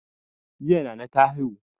Jiya nana ta haihu